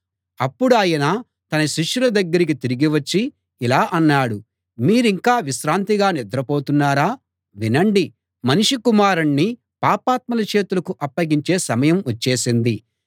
అప్పుడాయన తన శిష్యుల దగ్గరికి తిరిగి వచ్చి ఇలా అన్నాడు మీరింకా విశ్రాంతిగా నిద్రపోతున్నారా వినండి మనుష్య కుమారుణ్ణి పాపాత్ముల చేతులకు అప్పగించే సమయం వచ్చేసింది